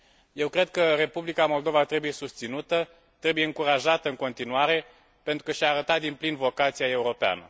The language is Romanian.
Eu cred că Republica Moldova trebuie susținută, trebuie încurajată în continuare, pentru că și a arătat din plin vocația europeană.